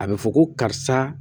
A bɛ fɔ ko karisa